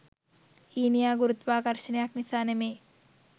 ඊනියා ගුරුත්වාකර්ශනයක් නිසා නෙමෙයි.